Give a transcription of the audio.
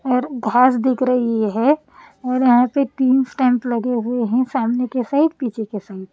और हाफ दिख रही है और यहां पे तीन स्टैंप लगे हुए हैं सामने के साइड पीछे के साइड --